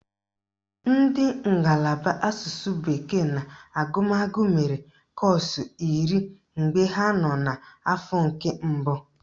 Ndị ngalaba asụsụ bekee na agụmagụ mere kọ́ọ̀sụ̀ iri mgbe ha nọ n'afọ nke mbụ